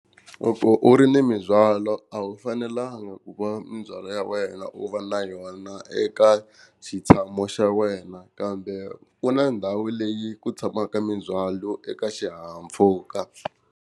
Loko u ri ni mindzwalo a wu fanelanga ku va mindzwalo ya wena u va na yona eka xitshamo xa wena, kambe ku na ndhawu leyi ku tshamaka mindzwalo eka xihahampfhuka.